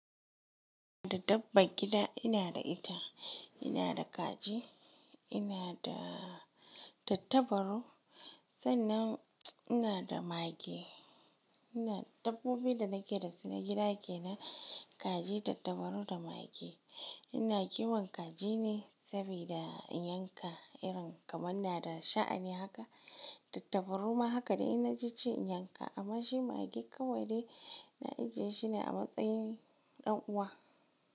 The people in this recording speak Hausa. Da dabban gida, ina da ita, ina da kaji, ina da tattabaru, sannan ina da mage. Dabbobin da nake da su na gida kenan kaji tattabaru da mage. Ina kiwon kaji ne saboda in yanka irin kamar na da sha'ani haka. Tattabaru ma haka da ina ji ce in yanka. Amma shi mage kawai dai na ji shi ne a matsayin ɗan uwa.